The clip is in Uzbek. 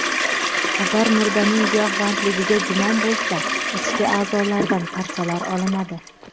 Agar murdaning giyohvandligiga gumon bo‘lsa, ichki a’zolardan parchalar olinadi.